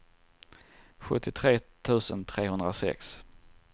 sjuttiotre tusen trehundrasex